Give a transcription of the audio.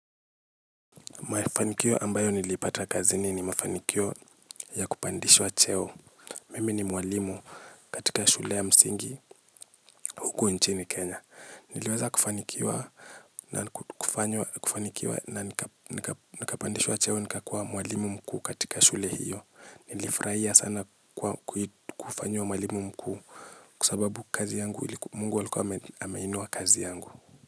Mafanikio ambayo nilipata kazini ni mafanikio ya kupandishwa cheo. Mimi ni mwalimu katika shule ya msingi huku nchini Kenya. Niliweza kufanikiwa na nikapandishwa cheo nikakuwa mwalimu mkuu katika shule hiyo. Nilifraia sana kufanyua mwalimu mkuu kusababu kazi yangu mungu walikuwa amainua kazi yangu.